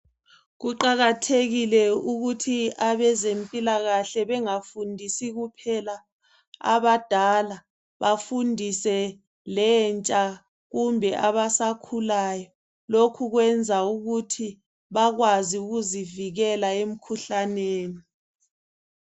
Kuqakathekile ukuthi abezempilakahle bengafundisi kuphela abadala bafundise lentsha kumbe abasakhulayo . Lokhu kwenza ukuthi bakwazi ukuzivikela emkhuhlaneni.